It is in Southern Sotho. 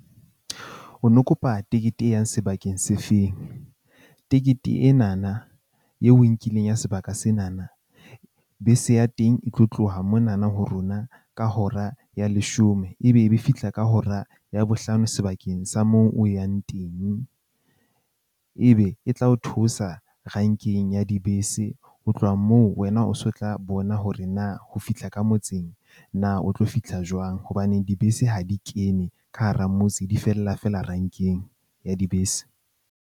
O no kopa tekete e yang sebakeng se feng? Tekete ena na eo o e nkileng ya sebaka sena na, bese ya teng e tlo tloha mona na ho rona ka hora ya leshome. Ebe ebe e fihla ka hora ya bohlano sebakeng sa moo o yang teng. Ebe e tla o theosa renkeng ya dibese, ho tloha moo wena o so o tla bona hore na o fihla ka motseng na o tlo fihla jwang hobane dibese ha di kene ka hara motse, di fella fela renkeng ya dibese.